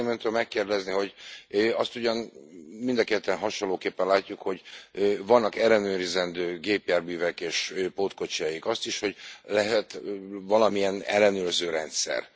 Azt szeretném öntől megkérdezni, hogy azt ugyan mind a ketten hasonlóképpen látjuk, hogy vannak ellenőrizendő gépjárművek és pótkocsijaik, azt is, hogy lehet valamilyen ellenőrzőrendszer.